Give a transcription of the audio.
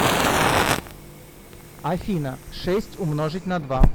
афина шесть умножить на два